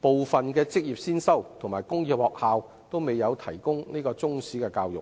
部分職業先修和工業中學均未有提供中史教育。